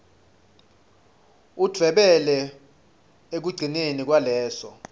udvwebele ekugcineni kwaleso